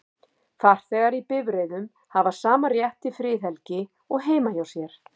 Farþegar í bifreiðum hafa sama rétt til friðhelgi og heima hjá sér.